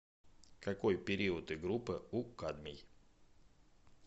какой период и группа у кадмий